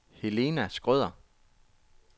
Helena Schrøder